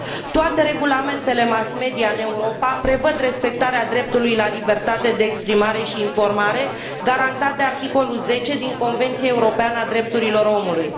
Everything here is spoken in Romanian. Toate regulamentele mass media din Europa prevăd respectarea dreptului la libertate exprimare și informare garantat de articolul 10 din Convenția Europeană a Drepturilor Omului.